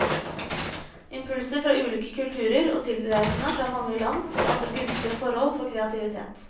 Impulser fra ulike kulturer og tilreisende fra mange land skaper gunstige forhold for kreativitet.